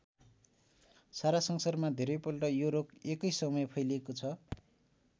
सारा संसारमा धेरैपल्ट यो रोग एकै समय फैलिको छ।